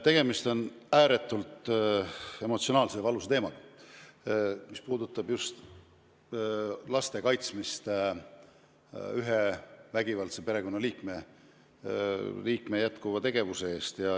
Tegemist on ääretult emotsionaalse ja valusa teemaga, mis puudutab eriti just laste kaitsmist ühe vägivaldse perekonnaliikme eest.